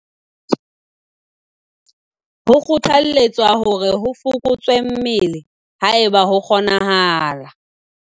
"Ho kgothalletswa hore ho fokotswe mmele, haeba ho kgoneha."